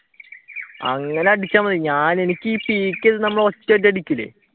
അങ്ങനെ അടിച്ച മതി ഞാൻ എനിക്ക് ഈ peak ചെയ്തു നമ്മൾ ഒറ്റ അടി അടിക്കൂലേ?